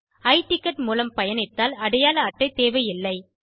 i ticket மூலம் பயணித்தால் அடையாள அட்டை தேவையில்லை